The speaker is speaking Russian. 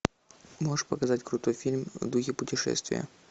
можешь показать крутой фильм в духе путешествия